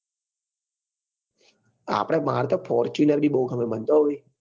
આપડે મમાર તો fortuner બી બઉ ગમે મને તો હો ભાઈ